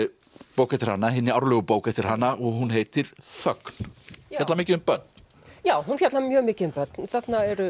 bók eftir hana hinni árlegu bók eftir hana og hún heitir þögn fjallar mikið um börn já hún fjallar mjög mikið um börn þarna eru